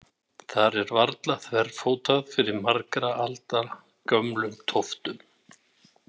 Þar er varla þverfótað fyrir margra alda gömlum tóftum.